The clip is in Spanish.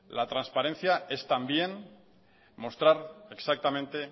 la transparencia es también mostrar exactamente